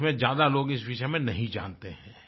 देश में ज्यादा लोग इस विषय में नहीं जानते हैं